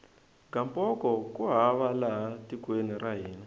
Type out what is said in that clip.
gamboko ku hava laha tekweni ra hina